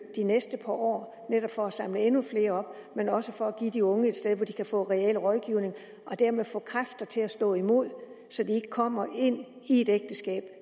det næste par år netop for at samle endnu flere op men også for at give de unge et sted hvor de kan få reel rådgivning og dermed få kræfter til at stå imod så de ikke kommer ind i et ægteskab